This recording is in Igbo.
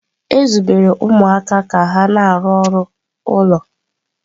E zubere ụmụaka ka ha na-arụ ọrụ ụlọ.